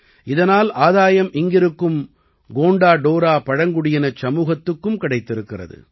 இதனால் ஆதாயம் இங்கிருக்கும் கோண்டா டோரா பழங்குடியினச் சமூகத்துக்கும் கிடைத்திருக்கிறது